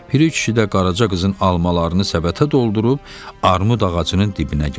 Piri kişi də Qaraca qızın almalarını səbətə doldurub armud ağacının dibinə gəldi.